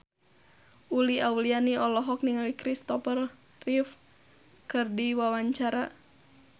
Uli Auliani olohok ningali Christopher Reeve keur diwawancara